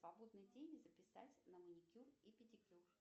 свободный день записать на маникюр и педикюр